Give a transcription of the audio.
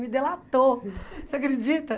Me delatou, você acredita?